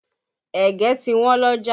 Ẹ̀gẹ́ ti Wọ́n l'ọ́jà